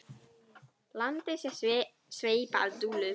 Landið sé sveipað dulúð.